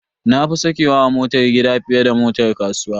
Na fi sakewa a motar gida fiye da motar kasuwa.